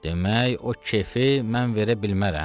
Demək, o keyfi mən verə bilmərəm?